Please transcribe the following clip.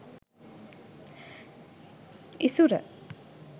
isura